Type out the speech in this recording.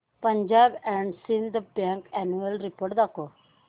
Punjab and Sind bank annual report दाखव